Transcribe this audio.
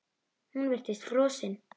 Hún virtist frosin.